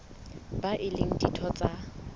bao e leng ditho tsa